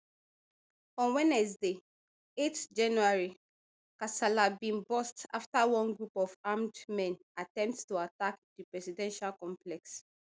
on wednesday eight january kasala bin burst afta one group of armed men attempt to attack di presidential complex